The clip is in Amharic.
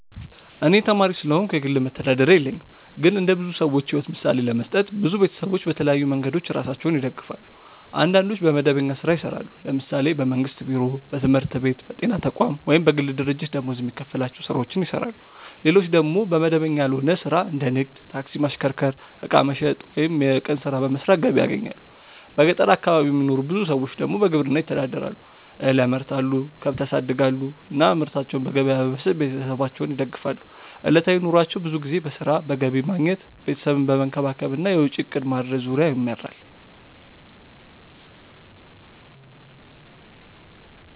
እኔ ተማሪ ስለሆንኩ የግል መተዳደሪያ የለኝም። ግን እንደ ብዙ ሰዎች ሕይወት ምሳሌ ለመስጠት፣ ብዙ ቤተሰቦች በተለያዩ መንገዶች ራሳቸውን ይደግፋሉ። አንዳንዶች በመደበኛ ሥራ ይሰራሉ፤ ለምሳሌ በመንግስት ቢሮ፣ በትምህርት ቤት፣ በጤና ተቋም ወይም በግል ድርጅት ደመወዝ የሚከፈላቸው ሥራዎችን ይሰራሉ። ሌሎች ደግሞ በመደበኛ ያልሆነ ሥራ እንደ ንግድ፣ ታክሲ ማሽከርከር፣ ዕቃ መሸጥ ወይም የቀን ሥራ በመስራት ገቢ ያገኛሉ። በገጠር አካባቢ የሚኖሩ ብዙ ሰዎች ደግሞ በግብርና ይተዳደራሉ፤ እህል ያመርታሉ፣ ከብት ያሳድጋሉ እና ምርታቸውን በገበያ በመሸጥ ቤተሰባቸውን ይደግፋሉ። ዕለታዊ ኑሯቸው ብዙ ጊዜ በሥራ፣ በገቢ ማግኘት፣ ቤተሰብን መንከባከብ እና የወጪ እቅድ ማድረግ ዙሪያ ይመራል።